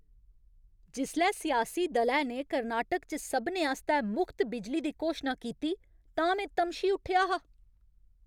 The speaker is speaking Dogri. जिसलै सियासी दलै ने कर्नाटक च सभनें आस्तै मुख्त बिजली दी घोशना कीती तां में तमशी उट्ठेआ हा।